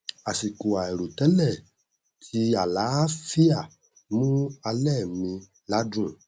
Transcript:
àsìkò àìrò tẹlẹ ti àlàáfíà mú alẹ mi ládùn